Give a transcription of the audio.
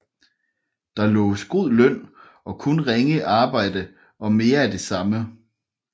Der loves god løn og kun ringe arbejde og mere af det samme